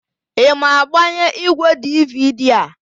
Ị ma agbanye ígwèdividi a?